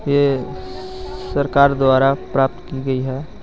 यह स्सरकार द्वारा प्राप्त की गई हे.